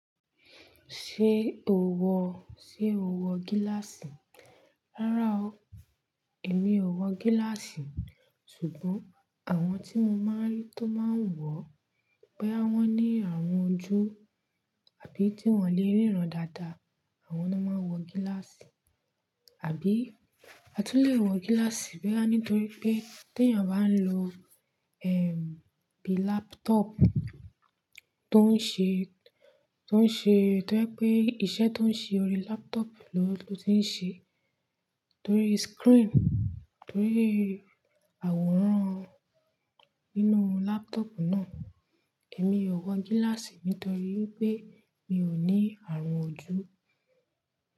Ṣé o wọ, ṣe o wọ gíláàsì? Rárá o, èmi ò wọ gíláàsì. Ṣùgbọ́n àwọn tí mo máa ń rí tó máa ń wọ, boya wọn ní àrùn ojú àbí tí wọ́n lè ríran dáadáa, àwọn náà máa ń wọ gíláàsì. Àbí a tún lè wọ gíláàsì bo ya nítorí pé tí èèyàn bá ń lo, ẹm, bíi laptop tó ń ṣe, tó ń ṣe, tó jẹ́ pé iṣẹ́ tó ń ṣe ori laptop lọ ló ti ń ṣe, torí screen, torí àwòrán inú laptop náà. Èmi ò wọ gíláàsì nítorí pé mi ò ní àrùn ojú.